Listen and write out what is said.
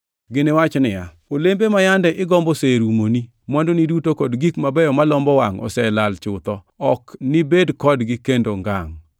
“Giniwach niya, ‘Olembe ma yande igombo oserumoni. Mwandugi duto kod gik mabeyo malombo wangʼ oselal chutho, ok nibed kodgi kendo ngangʼ.’